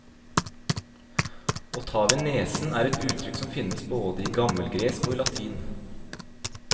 Å ta ved nesen er et uttrykk som finnes både i gammelgresk og i latin.